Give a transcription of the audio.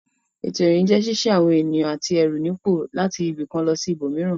Ètò ìrìn jẹ́ ṣíṣí àwọn ènìyàn àti ẹrù nípò láti ibì kan lọ sí ibòmíràn.